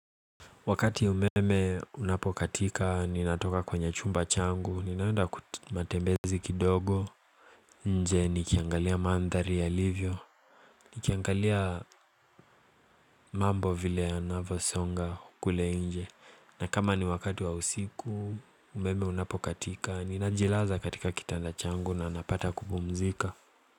Wakati umeme unapokatika, ninatoka kwenye chumba changu, ninaenda matembezi kidogo, nje nikiangalia mandhari yalivyo, nikiangalia mambo vile yanavyosonga kule nje, na kama ni wakati wa usiku, umeme unapokatika, ninajilaza katika kitanda changu na napata kupumzika.